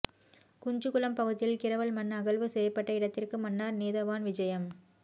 குஞ்சுக்குளம் பகுதியில் கிறவல் மண் அகழ்வு செய்யப்பட்ட இடத்திற்கு மன்னார் நீதவான் விஜயம்